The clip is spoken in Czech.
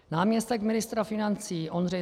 Náměstek ministra financí Ondřej